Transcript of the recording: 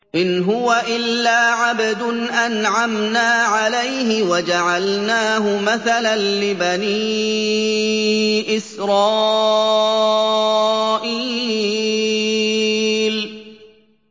إِنْ هُوَ إِلَّا عَبْدٌ أَنْعَمْنَا عَلَيْهِ وَجَعَلْنَاهُ مَثَلًا لِّبَنِي إِسْرَائِيلَ